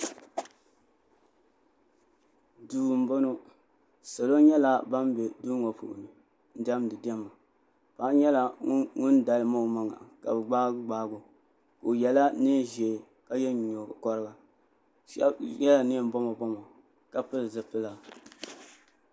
duu n bɔŋɔ salo nyɛla ban bɛ duu ŋɔ puuni n diɛmdi diɛma paɣa nyɛla ŋun dalim o maŋa ka bi gbaagi gbaagi o o yɛla neen ʒiɛ ka yɛ nyingokoringa shab yɛla neen boma boma ka pili zipila